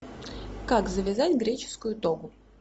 как завязать греческую тогу